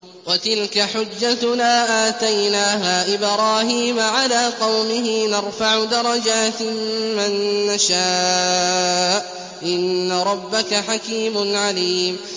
وَتِلْكَ حُجَّتُنَا آتَيْنَاهَا إِبْرَاهِيمَ عَلَىٰ قَوْمِهِ ۚ نَرْفَعُ دَرَجَاتٍ مَّن نَّشَاءُ ۗ إِنَّ رَبَّكَ حَكِيمٌ عَلِيمٌ